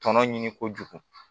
Tɔnɔ ɲini kojugu